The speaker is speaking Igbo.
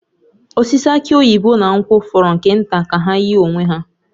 Osisi aki oyibo na nkwụ fọrọ nke nta ka ha yie onwe ha